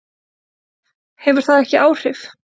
Hefur það ekki áhrif?